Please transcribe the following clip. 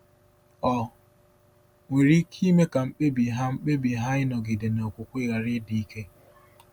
ọ nwere ike ime ka mkpebi ha mkpebi ha ịnọgide na okwukwe ghara ịdị ike?